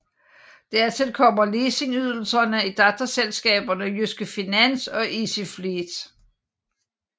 Dertil kommer leasingydelser i datterselskaberne Jyske Finans og Easyfleet